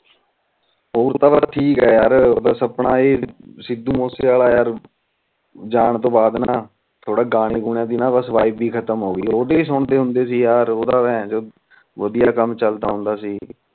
ਹੋਰ ਤਾ ਫੇਰ ਠੀਕ ਆ ਯਾਰ ਬਸ ਆਪਣਾ ਇਹ ਸਿੱਧੂ ਮੂਸੇ ਵਾਲਾ ਜਾਨ ਤੋਂ ਬਾਦ ਬਸ ਅਨਿਆਂ ਦੇ ਵਈਬ ਏ ਖਤਮ ਹੋਗੀ ਓਹਦੇ ਸੁਣਦੇ ਹੁੰਦੇ ਸੀ ਯਾਰ ਓਹਦਾ ਭੇਨਚੋਦ ਵਧੀਆ ਕਾਮ ਚਲਦਾ ਹੁੰਦਾ ਸੀ